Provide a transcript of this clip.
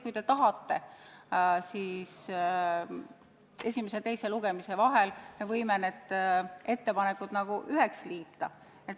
Kui te tahate, siis esimese ja teise lugemise vahel me võime need eelnõud üheks liita.